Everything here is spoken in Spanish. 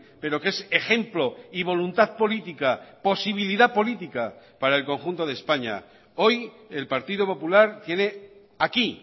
pero que es ejemplo y voluntad política posibilidad política para el conjunto de españa hoy el partido popular tiene aquí